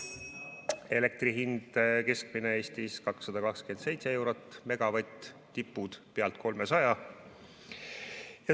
Keskmine elektri hind Eestis on 227 eurot megavatt, tipud üle 300.